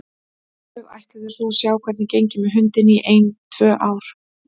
Þau ætluðu svo að sjá til hvernig gengi með hundinn í ein tvö ár.